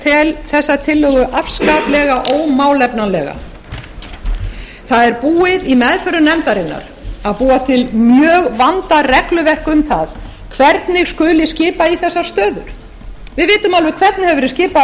tel þessa tillögu afskaplega ómálefnalega það er búið í meðförum nefndarinnar að búa til mjög vandað regluverk um það hvernig skuli skipa í þessar stöður við vitum alveg hvernig hefur verið skipað í þær hingað